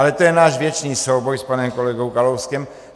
Ale to je náš věčný souboj s panem kolegou Kalouskem.